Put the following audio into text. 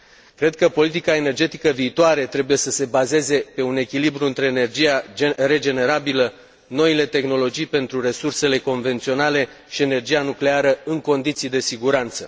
Cred că politica energetică viitoare trebuie să se bazeze pe un echilibru între energia regenerabilă, noile tehnologii pentru resursele convenționale și energia nucleară, în condiții de siguranță.